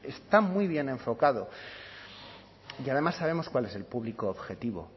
está muy bien enfocado y además sabemos cuál es el público objetivo